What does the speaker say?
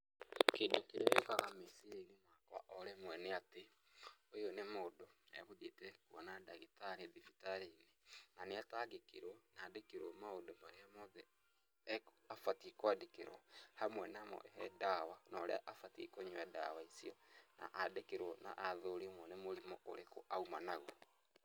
Kĩndũ kĩrĩa gĩũkaga meciria-inĩ makwa o rĩmwe nĩ atĩ, ũyũ nĩ mũndũ, egũthiĩte kũona ndagĩtarĩ thibitarĩ-inĩ, na nĩ atangĩkĩrwo na andĩkĩrwo maũndũ marĩa mothe abatiĩ kũandĩkĩrwo, hamwe namo he ndawa na ũrĩa abatiĩ kũnyũa ndawa icio, na andĩkĩrwo na athũrĩmwo nĩ mũrimũ ũrĩkũ auma naguo.